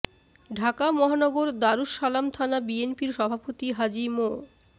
ঢাকা মহানগর দারুস সালাম থানা বিএনপির সভাপতি হাজী মো